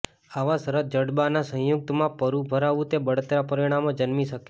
આવા શરત જડબાના સંયુક્ત માં પરુ ભરાવું તે બળતરા પરિણામે જન્મી શકે